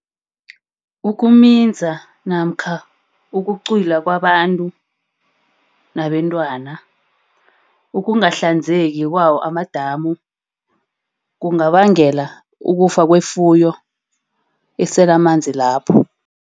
Ukuminza namkha ukucwila kwabantu nabentwana. Ukungahlanzeki kwawo amadamu kungabangela ukufa kwefuyo esele amanzi lapho.